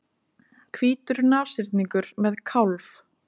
Hvítur nashyrningur með kálf.